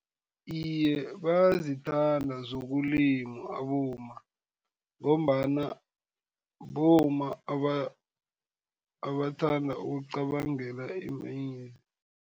Iye, bayazithanda zokulima abomma, ngombana bomma abathanda ukucabangela